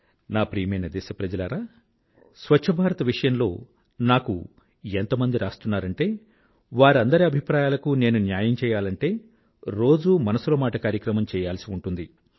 నా ప్రియమైన దేశప్రజలారా స్వచ్ఛ భారత్ విషయంలో నాకు ఎంతమంది రాస్తున్నారంటే వారందరి అభిప్రాయాలకూ నేను న్యాయం చెయ్యాలనుకుంటే రోజూ మనసులో మాట కార్యక్రమం చెయ్యాల్సి ఉంటుంది